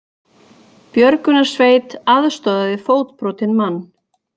Björgunarsveit aðstoðaði fótbrotinn mann